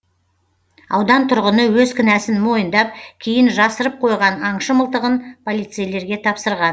аудан тұрғыны өз кінәсін мойындап кейін жасырып қойған аңшы мылтығын полицейлерге тапсырған